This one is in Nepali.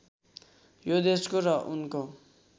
यो देशको र उनको